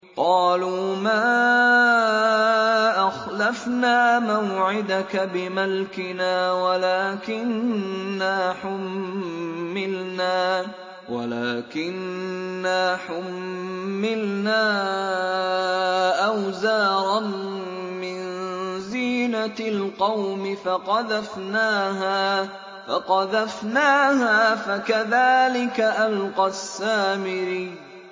قَالُوا مَا أَخْلَفْنَا مَوْعِدَكَ بِمَلْكِنَا وَلَٰكِنَّا حُمِّلْنَا أَوْزَارًا مِّن زِينَةِ الْقَوْمِ فَقَذَفْنَاهَا فَكَذَٰلِكَ أَلْقَى السَّامِرِيُّ